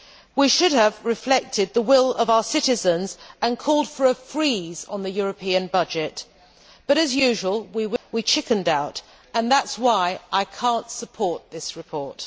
We should have reflected the will of our citizens and called for a freeze on the European budget, but as usual we chickened out, and that is why I cannot support this report.